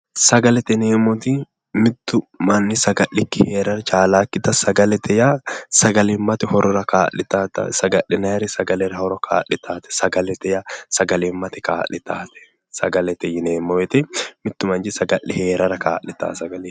Sagalete yineemot mittu manichi saga'likii heere chalaakkita sagalete yaa sagalimate horora kaa'litawota sagalete yaa sagalimate kaa'litawota mittu manichi saga'le heerara kalitawote